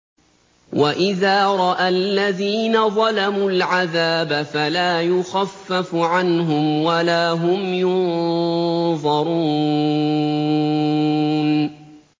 وَإِذَا رَأَى الَّذِينَ ظَلَمُوا الْعَذَابَ فَلَا يُخَفَّفُ عَنْهُمْ وَلَا هُمْ يُنظَرُونَ